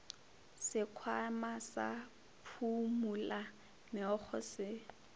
sekhwama sa phumula meokgo se